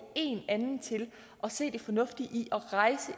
én anden til at se det fornuftige i